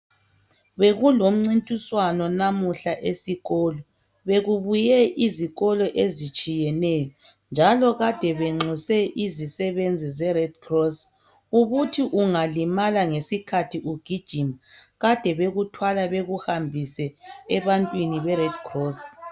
Bekulomncintiswano namuhla esikolo bekubuye izikolo ezitshiyeneyo njalo kade benxuse izisebenzi ze Redcross ubuthi ungalimala ngesikhathi ugijima kade bekuthwala bekuhambise ebantwini be Redcross.